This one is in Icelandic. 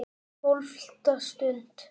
TÓLFTA STUND